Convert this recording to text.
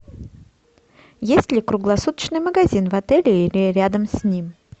есть ли круглосуточный магазин в отеле или рядом с ним